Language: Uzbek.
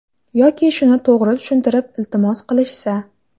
Yoki shuni to‘g‘ri tushuntirib iltimos qilishsa.